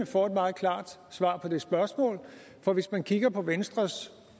får et meget klart svar på det spørgsmål for hvis man kigger på venstres